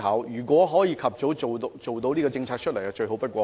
如能及早推出這項政策，則最好不過。